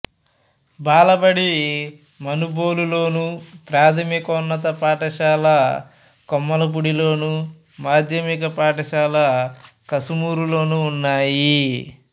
బాలబడి మనుబోలులోను ప్రాథమికోన్నత పాఠశాల కొమ్మాలపూడిలోను మాధ్యమిక పాఠశాల కసుమూరులోనూ ఉన్నాయి